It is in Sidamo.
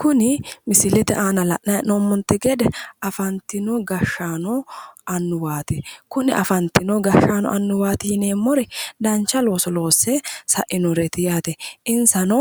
Kuni misilete aana la'nayi he'noommonte gede afantino gashshaano annuwaati. Kuni afantino gashshsaano annuwwati yineemmori dancha looso loosse sa'inoreeti yaate. Insano